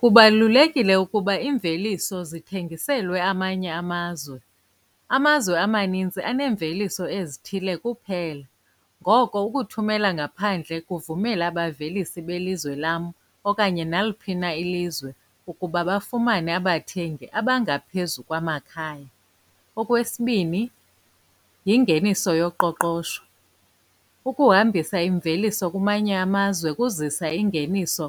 Kubalulekile ukuba iimveliso zithengiselwe amanye amazwe. Amazwe amaninzi aneemveliso ezithile kuphela, ngoko ukuthumela ngaphandle kuvumela abavelisi belizwe lam okanye naliphi na ilizwe ukuba bafumane abathengi abangaphezu kwamakhaya. Okwesibini, yingeniso yoqoqosho. Ukuhambisa imveliso kumanye amazwe kuzisa iingeniso